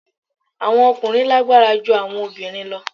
Awọn ọkunrin lagbara ju awọn obinrin lọ